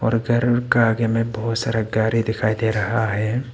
और घर का आगे में बहुत सारा गाड़ी दिखाई दे रहा है।